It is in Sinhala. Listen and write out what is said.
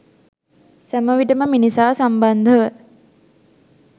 සැමවිටම මිනිසා සම්බන්ධව